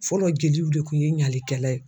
Fɔlɔ jeliw de kun ye ɲalikɛla ye.